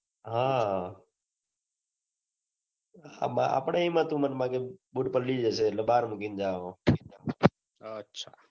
હા અમાં આપડે મેં હતું મન મગજ મા કે બુટ પલડી જશે એટલે બાર મુકીને જાઓ